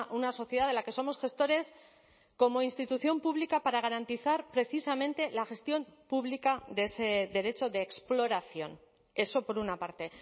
una sociedad de la que somos gestores como institución pública para garantizar precisamente la gestión pública de ese derecho de exploración eso por una parte